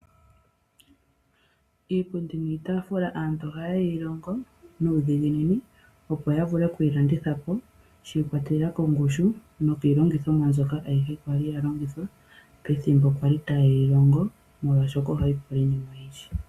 Iipundi niitaafula aantu ohaya ye yi longo nuudhiginini opo yavule okwii landitha po shi ikwatelela kongushu nokiilongithomwa mbyoka ayihe kwali yalongithwa pethimbo kwali taye yilongo molwashoka ohayi pula iinima oyindji.